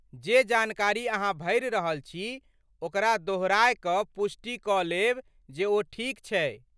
जे जानकारी अहाँ भरि रहल छी ओकरा दोहराय कऽ पुष्टि कऽ लेब जे ओ ठीक छै।